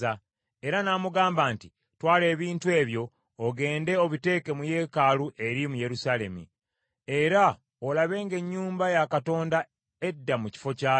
era n’amugamba nti, ‘Twala ebintu ebyo, ogende obiteeke mu yeekaalu eri mu Yerusaalemi, era olabe ng’ennyumba ya Katonda edda mu kifo kyayo.’